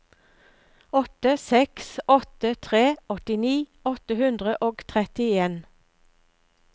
åtte seks åtte tre åttini åtte hundre og trettien